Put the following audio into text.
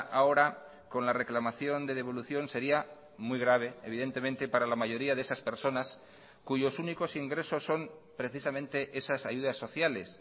ahora con la reclamación de devolución sería muy grave evidentemente para la mayoría de esas personas cuyos únicos ingresos son precisamente esas ayudas sociales